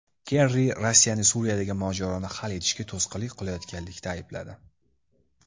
Kerri Rossiyani Suriyadagi mojaroni hal etishga to‘sqinlik qilayotganlikda aybladi.